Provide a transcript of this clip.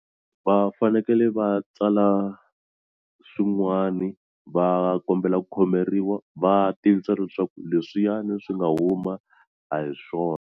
Va fanekele va tsala swin'wani va kombela ku khomeriwa va tivisa leswaku leswiyani swi nga huma a hi swona.